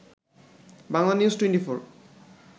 Bangla news 24